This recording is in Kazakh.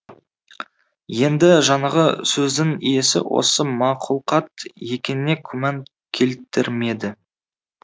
енді жаңағы сөздің иесі осы мақұлқат екеніне күмән келтірмеді